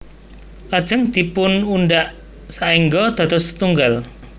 Lajeng dipunudhak saéngga dados setunggal